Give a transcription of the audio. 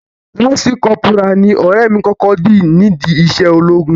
Lance corporal ni ọ̀rẹ́ mi kọ́kọ́ di nídi iṣẹ́ ológun.